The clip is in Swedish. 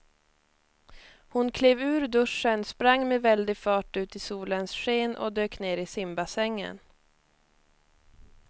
Hon klev ur duschen, sprang med väldig fart ut i solens sken och dök ner i simbassängen.